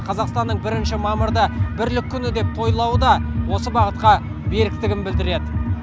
қазақстанның бірінші мамырды бірлік күні деп тойлауыда осы бағытқа беріктігін білдіреді